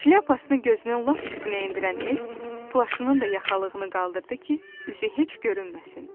Şlyapasını gözünün lap üstünə endirən E-s plaşının da yaxalığını qaldırdı ki, üzü heç görünməsin.